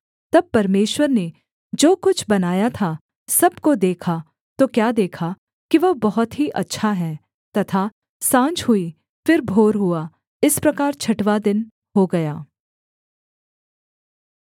तब परमेश्वर ने जो कुछ बनाया था सब को देखा तो क्या देखा कि वह बहुत ही अच्छा है तथा साँझ हुई फिर भोर हुआ इस प्रकार छठवाँ दिन हो गया